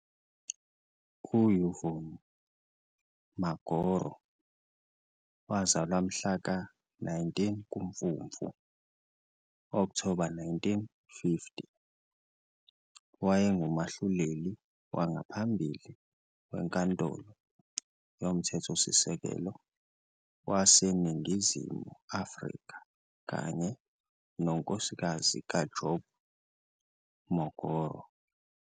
U-Yvonne Mokgoro, wazalwa mhla ka-19 kuMfumfu - Okthoba 1950, wayengumahluleli wangaphambili weNkantolo yoMthethosisekelo waseNingizimu Afrika kanye nonkosikazi kaJob Mokgoro.